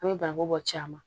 An bɛ bananku bɔ caaman